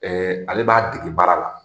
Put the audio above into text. Ɛ ale b'a dege baara la